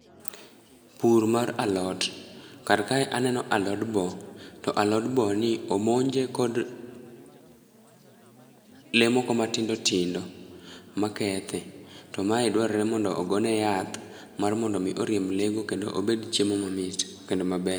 pur mar alot kar kae aneno alot boo to alot boo ni omonje kod lee moko matindo tindo ma kethe to mae dwarore mondo ogone yath mar mondo oriemb mar mondo mi oriemb lee go mondo obed chiemo mamit kendo maber